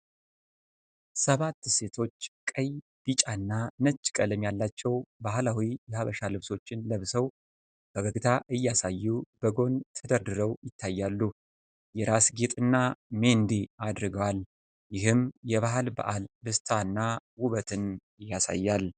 ሰባት ሴቶች ቀይ ፣ ቢጫ እና ነጭ ቀለም ያላቸው ባህላዊ የሃበሻ ልብሶችን ለብሰው ፈገግታ እያሳዩ በጎን ተደርድረው ይታያሉ። የራስ ጌጥና ሜንዲ አድርገዋል፤ ይህም የባህል በዓል ደስታና ውበትን ያሳያል።